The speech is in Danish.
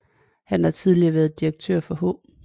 Han har tidligere været direktør for H